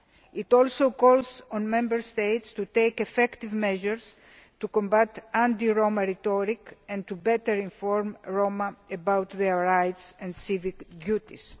It also calls on Member States to take effective measures to combat anti Roma rhetoric and to better inform the Roma about their rights and civic duties.